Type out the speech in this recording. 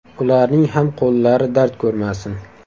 Ularning ham qo‘llari dard ko‘rmasin.